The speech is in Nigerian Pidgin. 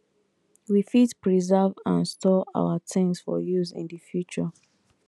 we fit preserve and store things for use in di future